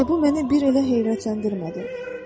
Bir də bu məni bir elə heyrətləndirmədi.